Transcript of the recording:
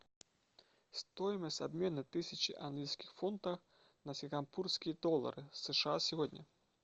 стоимость обмена тысячи английских фунтов на сингапурские доллары сша сегодня